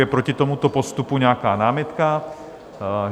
Je proti tomuto postupu nějaká námitka?